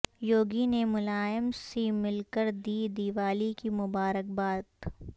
یوگی نے ملائم سے مل کر دی دیوالی کی مبارک باد